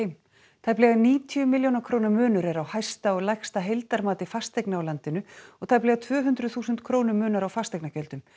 tæplega níutíu milljóna króna munur er á hæsta og lægsta heildarmati fasteigna á landinu og tæplega tvö hundruð þúsund krónum munar á fasteignagjöldum